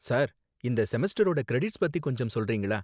Sir, இந்த செமஸ்டரோட credits பத்தி கொஞ்சம் சொல்றீங்களா?